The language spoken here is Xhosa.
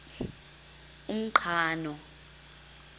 umqhano